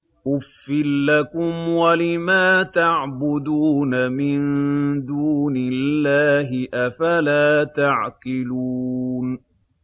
أُفٍّ لَّكُمْ وَلِمَا تَعْبُدُونَ مِن دُونِ اللَّهِ ۖ أَفَلَا تَعْقِلُونَ